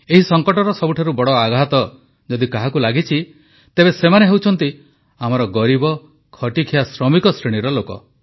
ଏହି ସଂକଟର ସବୁଠାରୁ ବଡ଼ ଆଘାତ ଯଦି କାହାକୁ ଲାଗିଛି ତେବେ ସେମାନେ ହେଉଛନ୍ତି ଆମର ଗରିବ ଖଟିଖିଆ ଶ୍ରମିକ ଶ୍ରେଣୀର ଲୋକ